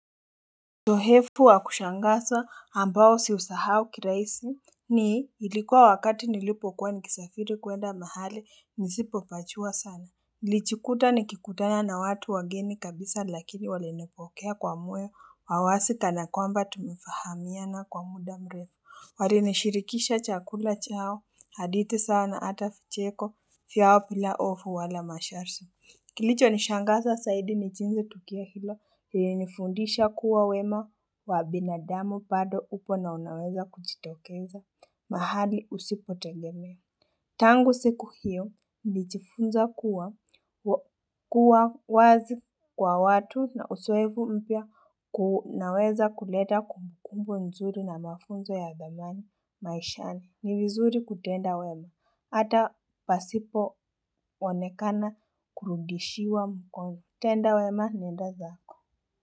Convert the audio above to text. Sohefu wa kushangasa ambao siusahau kiraisi ni ilikuwa wakati nilipokuwa nikisafiri kuenda mahali nisipopachua sana nilichikuta nikikutana na watu wageni kabisa lakini walinipokea kwa moyo wa wasi kanakwamba tumefahamiana kwa muda mrefu Warinishirikisha chakula chao haditi sawa na ata ficheko fyawo pila ofu wala masharsi Kilicho nishangaza saidi ni jinzi tukio hilo ilinifundisha kuwa wema wa binadamu pado upo na unaweza kuchitokeza mahali usipotegemea. Tangu siku hiyo nilichifunza kuwa wazi kwa watu na usoevu mpya kunaweza kuleta kumbukumbu nzuri na mafunzo ya thamani maishani. Ni vizuri kutenda wema, ata pasipo onekana kurudishiwa mkono. Tenda wema nenda zako.